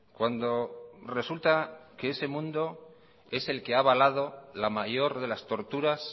cuando resulta que ese mundo es el que ha avalado la mayor de las torturas